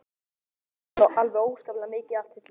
Hann vann alveg óskaplega mikið allt sitt líf.